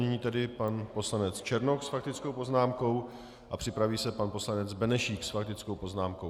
Nyní tedy pan poslanec Černoch s faktickou poznámkou a připraví se pan poslanec Benešík s faktickou poznámkou.